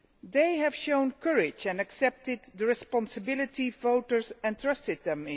They have shown courage and accepted the responsibility which voters entrusted in them.